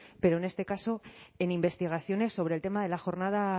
pero en este caso en investigaciones sobre el tema de la jornada